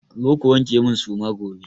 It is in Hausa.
Zo ku wanke min suma gobe!